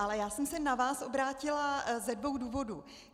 Ale já jsem se na vás obrátila ze dvou důvodů.